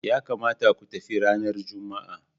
Ya kamata ku tafi ranar Juma'a.